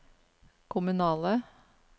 kommunale